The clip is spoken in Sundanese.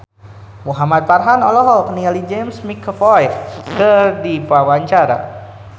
Muhamad Farhan olohok ningali James McAvoy keur diwawancara